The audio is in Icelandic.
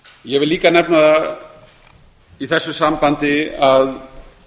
ég vil líka nefna í þessu sambandi að